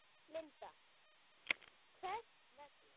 Linda: Hvers vegna?